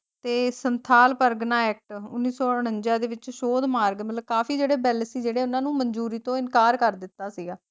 ਤੇ ਸੰਥਾਲ ਪਰਗਨਾ ਐਕਟ ਉਨੀ ਸੌ ਉਂਣਵੰਜਾ ਦੇ ਵਿਚ ਸ਼ੋਦ ਮਾਰਗ ਮਤਲਬ ਕਾਫੀ ਜਿਹੜੇ ਬਿੱਲ ਸੀ ਜੇੜੇ ਉੰਨਾ ਨੂੰ ਮੰਜੂਰੀ ਤੋਂ ਇਨਕਾਰ ਕਰ ਦਿੱਤਾ ਸੀਗਾ।